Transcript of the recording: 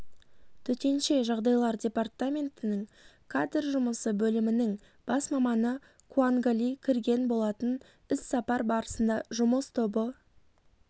төтенше жағдайлар департаментінің кадр жұмысы бөлімінің бас маманы куангали кірген болатын іс-сапар барысында жұмыс тобы